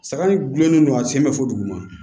Saga in gulonnen don a sen bɛ fɔ duguma